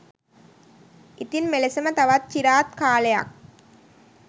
ඉතින් මෙලෙසම තවත් චිරාත් කාලයක්